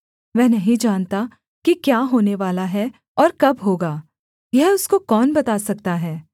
वह नहीं जानता कि क्या होनेवाला है और कब होगा यह उसको कौन बता सकता है